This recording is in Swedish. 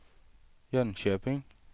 Jönköping